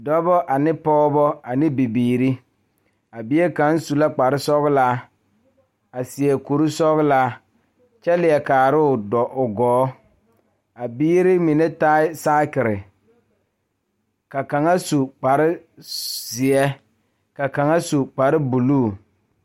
Dɔɔba ne Pɔgeba ane bibiiri a bie kaa pɔge nyoŋ dɔɔ nu ka katawiɛ Kyaara ka dɔɔ a su dagakparo ka pɔge a gyere wagye a le kodo kaa dɔɔba a gyere kpare zie kparre buluu.